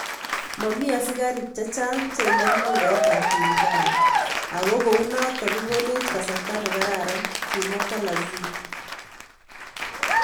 Momi askarik chechang cheingine lugait ab Lingala ako kunotok kokonech kasarta ne kararan, kimwa Bolassie.